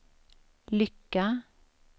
lycka